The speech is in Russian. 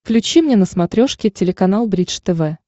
включи мне на смотрешке телеканал бридж тв